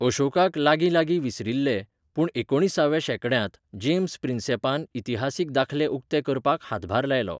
अशोकाक लागींलागीं विसरिल्ले, पूण एकुणिसाव्या शेकड्यांत, जेम्स प्रिन्सॅपान इतिहासीक दाखले उक्ते करपाक हातभार लायलो.